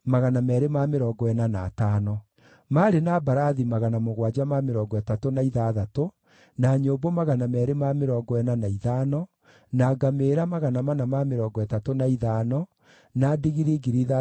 Athĩnjĩri-Ngai, na Alawii, na aikaria a ihingo, na aini na ndungata cia hekarũ, marĩ hamwe na andũ amwe ao, na andũ arĩa angĩ a Isiraeli magĩaka na magĩtũũra matũũra-inĩ mao.